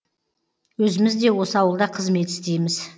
өзіміз де осы ауылда қызмет істейміз